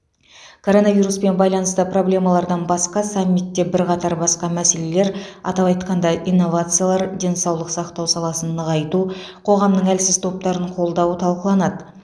коронавируспен байланысты проблемалардан басқа саммитте бірқатар басқа мәселелер атап айтқанда инновациялар денсаулық сақтау саласын нығайту қоғамның әлсіз топтарын қолдауы талқыланады